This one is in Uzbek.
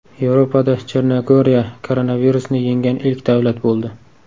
Yevropada Chernogoriya koronavirusni yengan ilk davlat bo‘ldi.